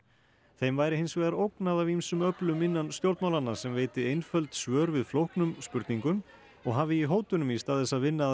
þeim væri hins vegar ógnað af ýmsum öflum innan stjórnmálanna sem veiti einföld svör við flóknum spurningum og hafi í hótunum í stað þess að vinna að